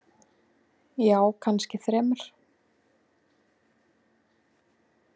Já, kannski þremur.